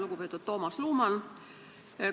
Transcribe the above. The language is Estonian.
Lugupeetud Toomas Luman!